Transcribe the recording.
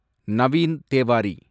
Naveen Tewari